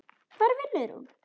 Hvar vinnur hún?